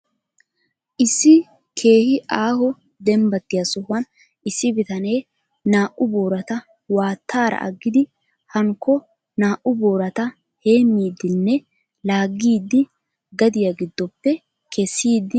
Issi keehi aaho dembbattiya sohuwan issi bitanee naa"u boorata waattaara aggidi hankko naa"u boorata heemmiidinne laaggiddi gadiya giddoppe kessiiddi de'ees.